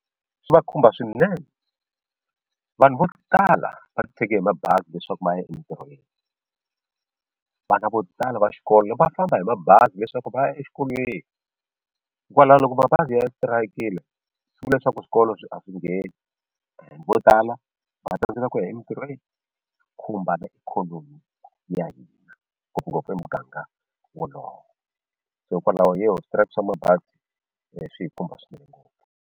Swi va khumba swinene vanhu vo tala va ti tshege hi mabazi leswaku va ya entirhweni vana vo tala va xikolo va famba hi mabazi leswaku va ya exikolweni hikwalaho loko mabazi ya terekile swi vula leswaku swikolo swi a swi ngeni vo tala va tsandzeka ku ya emitirhweni swi khumba na ikhonomi ya hina ngopfungopfu e muganga wolowo so hikokwalaho xitereko xa mabazi swi hi khumba swinene ngopfu.